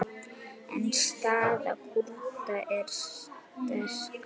En staða Kúrda er sterk.